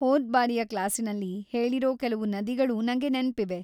ಹೋದ್ಬಾರಿಯ ಕ್ಲಾಸಿನಲ್ಲಿ ಹೇಳಿರೋ ಕೆಲ್ವು ನದಿಗಳು ನಂಗೆ ನೆನ್ಪಿವೆ.